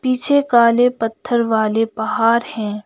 पीछे काले पत्थर वाले पहार हैं।